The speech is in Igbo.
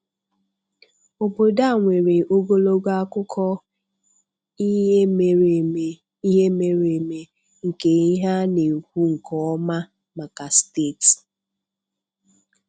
Obodo a nwere ogologo akụkọ ihe mere eme ihe mere eme nke ihe a na-ekwu nke ọma maka steeti